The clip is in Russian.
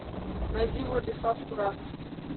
найди владислав курасов